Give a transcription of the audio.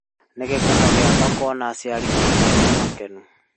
Nĩ gĩkeno gĩakwa kuona aciari akwa marĩ akenu